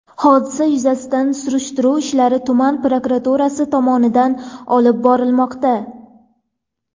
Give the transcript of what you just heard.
Hodisa yuzasidan surishtiruv ishlari tuman prokuraturasi tomonidan olib borilmoqda.